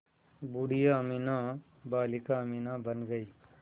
बूढ़िया अमीना बालिका अमीना बन गईं